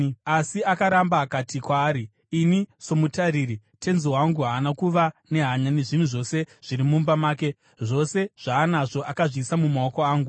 Asi akaramba. Akati kwaari, “Ini somutariri, tenzi wangu haana kuva nehanya nezvinhu zvose zviri mumba make; zvose zvaanazvo, akazviisa mumaoko angu.